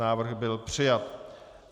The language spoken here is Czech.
Návrh byl přijat.